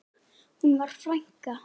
Hún var frænka.